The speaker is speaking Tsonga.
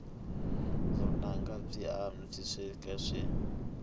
vunanga byi avanyisiwile